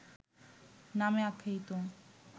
নামে আখ্যায়িত